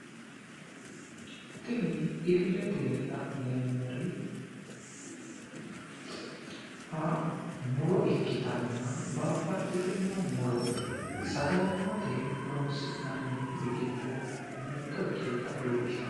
tini illetenni la'neemmori muro ikkitanna babbaxitinno muro sagali'mate horonsi'nanniri giddo mitto ikkinota leellishshanno.